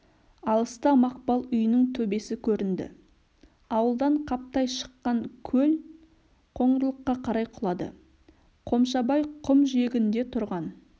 алыста мақпал үйінің төбесі көрінді ауылдан қаптай шыққан көл қоңырлыққа қарай құлады қомшабай құм жиегінде тұрған